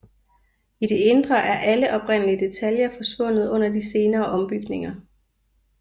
I det indre er alle oprindelige detaljer forsvundet under de senere ombygninger